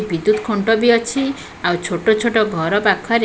ବିଦ୍ୟୁତ୍ ଖୁଣ୍ଟ ବି ଅଛି ଆଉ ଛୋଟ ଛୋଟ ଘର ପାଖରେ--